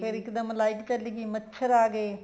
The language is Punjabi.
ਫ਼ੇਰ ਇੱਕਦਮ light ਭੱਜ ਗਈ ਮੱਛਰ ਆ ਗਏ